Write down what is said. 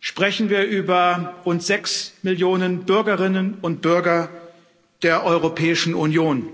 sprechen wir über rund sechs Millionen Bürgerinnen und Bürger der Europäischen Union.